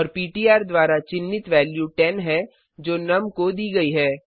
और पिट्र द्वारा चिन्हित वैल्यू 10 है जो नुम को दी गई है